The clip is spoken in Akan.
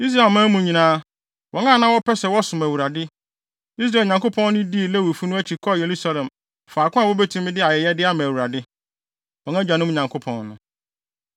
Israelman mu nyinaa, wɔn a na wɔpɛ sɛ wɔsom Awurade, Israel Nyankopɔn no dii Lewifo no akyi kɔɔ Yerusalem faako a wobetumi de ayɛyɛde ama Awurade, wɔn agyanom Nyankopɔn no.